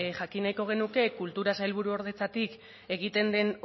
jakineko genuke kultura sailburuordetzatik egiten den